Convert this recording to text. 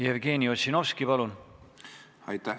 Jevgeni Ossinovski, palun!